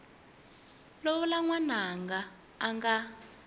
lovola n wananga a nga